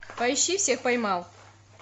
поищи всех поймал